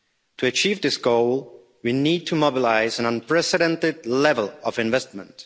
To achieve this goal, we need to mobilise an unprecedented level of investment.